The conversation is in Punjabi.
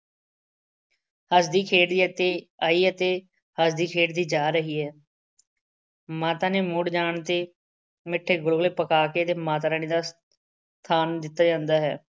ਹੱਸਦੀ ਖੇਡਦੀ ਅਤੇ ਆਈ ਅਤੇ ਹੱਸਦੀ ਖੇਡਦੀ ਜਾ ਰਹੀ ਹੈ। ਮਾਤਾ ਨੇ ਮੁੜ ਜਾਣ ਤੇ ਮਿੱਠੇ ਗੁਲਗੁਲੇ ਪਕਾ ਕੇ ਅਤੇ ਮਾਤਾ ਰਾਣੀ ਦਾ ਖਾਣ ਨੂੰ ਦਿੱਤਾ ਜਾਂਦਾ ਹੈ।